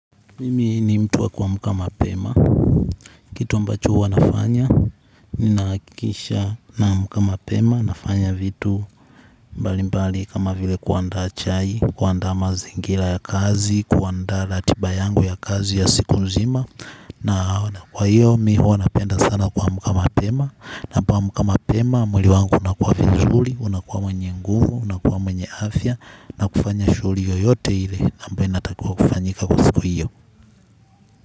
Mimi ni mtu wa kuamka mapema. Kitu ambacho huwa nafanya, ninahakikisha naamka mapema, nafanya vitu mbali mbali kama vile kuanda chai, kuanda mazingira ya kazi, kuanda ratiba yangu ya kazi ya siku nzima. Na kwa hiyo, mimi huwa napenda sana kuamka mapema. Ninapoamka mapema, mwili wangu unakuwa vizuri, unakuwa mwenye nguvu, unakuwa mwenye afya, na kufanya shughuli yoyote ile, ambayo inatakiwa kufanyika kwa siku hiyo.